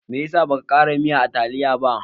Me ya sa baka ƙara miyan a taliyar ba?